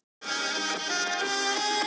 Hérna. hvað fæ ég í kaup?